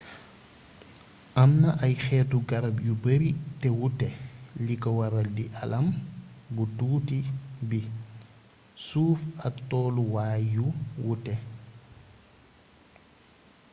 amna ay xétu garab yu beeri té wuté liko waral di aalam bu tuuti bi suuf ak tollu waay yu wuuté